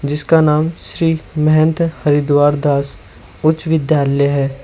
इसका नाम श्री महेंद्र हरिद्वार दास उच्च विद्यालय है।